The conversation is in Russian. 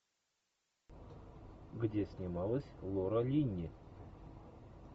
где снималась лора линни